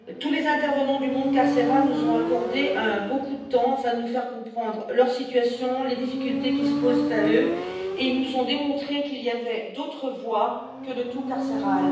Les intervenants du monde carcéral nous ont accordé beaucoup de temps afin de nous faire comprendre leur situation, les difficultés qui se posent à eux, et ils nous ont démontré qu'il y avait d'autres voies que le tout carcéral.